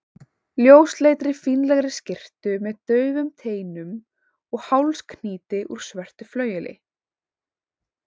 ljósleitri, fínlegri skyrtu með daufum teinum og hálsknýti úr svörtu flaueli.